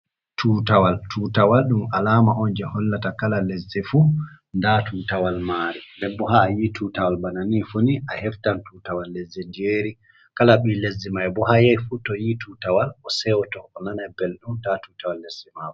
Tutawal. Tutawal ɗum alama on je hollata kala lezdi fu nda tutawal mari ndenbo ha a yi tutawal bana ni fu a heftan tutawal lezdi diyeri, kala bii lesdi mai bo haa yai fu to yi tutawal o sewto, o nana belɗum nda tutawal lesdi mako.